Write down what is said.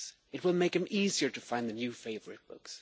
This will make it easier to find a new favourite book.